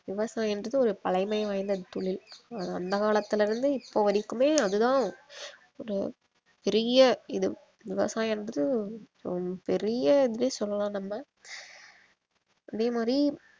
விவசாயம்ன்றது ஒரு பழைமை வாய்ந்த தொழில் அது அந்த காலத்தில இருந்தே இப்போ வரைக்குமே அது தான் ஒரு பெரிய இது விவசாயம்ன்றது ஹம் பெரிய இதுன்னே சொல்லலாம் நம்ம அதே மாரி